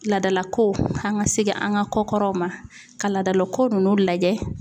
Laadalakow an ŋa segin an ŋa kɔ kɔrɔw ma ka laadalako ninnu lajɛ